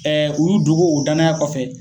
Ɛɛ u dogo o danaya kɔfɛ